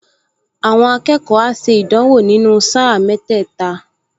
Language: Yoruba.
Àwọn akẹ́kọ̀ọ á ṣe ìdánwò nínú sáà mẹ́tẹ́ẹ̀ta